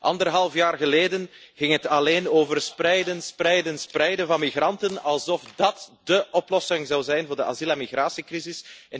Anderhalf jaar geleden ging het alleen over spreiden, spreiden, spreiden van migranten, alsof dat dé oplossing zou zijn voor de asiel en migratiecrisis.